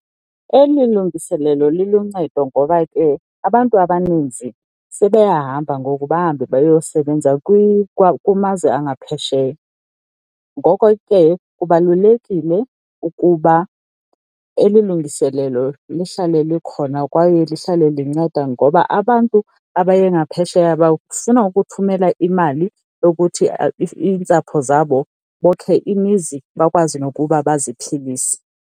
Eli lungiselelo liluncedo ngoba ke abantu abaninzi sebeyahamba ngoku bahambe bayosebenza kumazwe angaphesheya. Ngoko ke kubalulekile ukuba eli lungiselelo lihlale likhona kwaye lihlale linceda ngoba abantu abaye ngaphesheya bafuna ukuthumela imali yokuthi iintsapho zabo bokhe imizi bakwazi nokuba baziphilise.